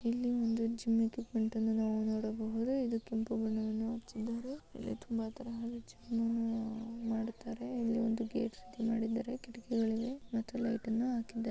ಇಲ್ಲಿ ಒಂದು gym equipment ನಾವು ನೋಡಬಹುದು ಇದು ಕೆಂಪು ಬಣ್ಣ ಹಚ್ಚಿದ್ದಾರೆ ಇಲ್ಲಿ ತುಂಬಾ ತರಹದ ಜಿಮ್ ಮಾಡುತ್ತಾರೆ ಇಲ್ಲಿಒಂದು ಗೇಟ್ ರೀತಿ ಮಾಡಿದ್ದಾರೆ ಕಿಡಕಿಗಳಿಗೆ.